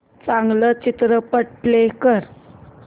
चांगला चित्रपट प्ले कर